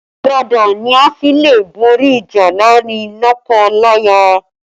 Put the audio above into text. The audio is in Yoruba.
Ìfaradà ni a fi le borí ìjà láàrin lọ́kọ-láya